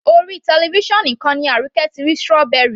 Orí television nìkan ni Arike ti rí strawy